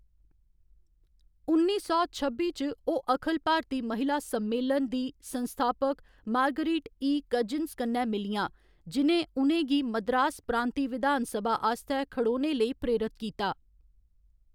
उन्नी सौ छब्बी च, ओह्‌‌ अखिल भारती महिला सम्मेलन, दी संस्थापक मार्गरेट ई. कजिन्स कन्नै मिलियां, जि'नें उ'नें गी मद्रास प्रांती विधान सभा आस्तै खड़ोने लेई प्रेरत कीता।